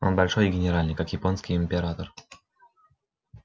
он большой и генеральный как японский император